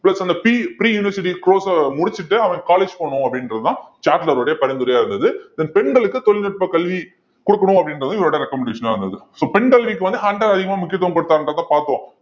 plus அந்த p~ pre university course அ முடிச்சிட்டு அவன் college போகணும் அப்படின்றதுதான் சாட்லருடைய பரிந்துரையா இருந்தது then பெண்களுக்கு தொழில்நுட்பக் கல்வி கொடுக்கணும் அப்படின்றது இவருடைய recommendation ஆ இருந்தது so பெண்கல்விக்கு வந்து ஹண்டர் அதிகமா முக்கியத்துவம் கொடுத்தாங்கன்றத பார்த்தோம்